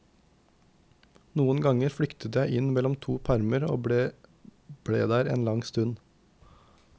Noen ganger flyktet jeg inn mellom to permer og ble der en lang stund.